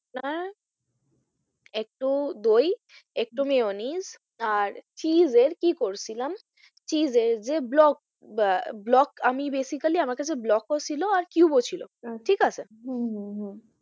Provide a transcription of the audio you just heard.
একটু দই একটু মিয়োনিস আর চীজের কি করছিলাম চীজের যে ব্লক আহ ব্লক আমি basically আমার কাছে ব্লকও ছিল আর cube ও ছিল আচ্ছা ঠিকআছে? হম হম হম